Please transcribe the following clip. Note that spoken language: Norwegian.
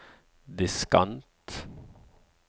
diskant